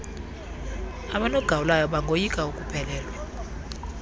abanogawulayo bangoyika ukuphelelwa